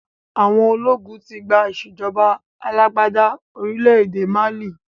Àwọn ológun tí gbà ìsèjọba alàgbàda orílẹ̀ èdè Málí